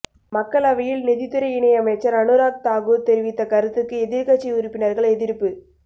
மக்களவையில் நிதித்துறை இணையமைச்சர் அனுராக் தாக்கூர் தெரிவித்த கருத்துக்கு எதிர்க்கட்சி உறுப்பினர்கள் எதிர்ப்பு